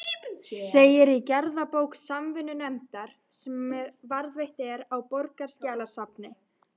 segir í gerðabók Samvinnunefndar, sem varðveitt er á Borgarskjalasafni.